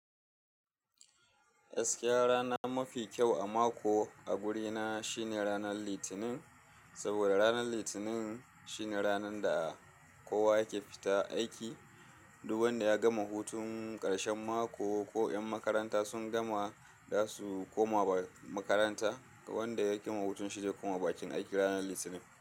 Gaskiya rana mafi kyau a mako a wuri na shine ranan litinin, saboda ranan litinin shine ranan da kowa yake fita aiki. Duk wanda ya gama hutun ƙarshen mako ko yan makaranta sun gama za su koma makaranta, wanda yake ma hutun shi zai koma bakin aiki ranan litinin.